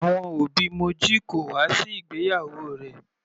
Àwọn òbí Moji kò wá sí ìgbéyàwó rẹ̀.